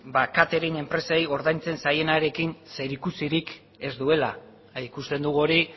catering enpresei ordaintzen zaienarekin zerikusirik ez duela ikusten dugu hori